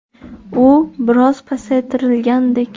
U biroz pasaytirilgandek.